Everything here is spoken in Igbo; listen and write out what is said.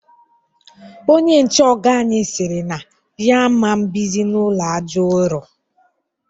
Onye nche ọga anyị siri na ya aman bizi n'ụlọ àjà ụrọ